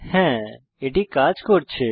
হ্যাঁ এটি কাজ করছে